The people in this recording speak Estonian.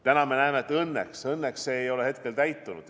Täna näeme, et õnneks see ei ole täitunud.